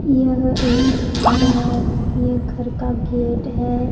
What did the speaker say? यह एक घर है ये घर का गेट है।